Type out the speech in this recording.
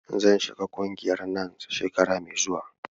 Zan shiga ƙungiyar NANS shekara mai zuwa.